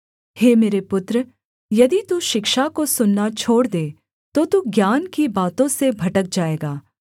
हे मेरे पुत्र यदि तू शिक्षा को सुनना छोड़ दे तो तू ज्ञान की बातों से भटक जाएगा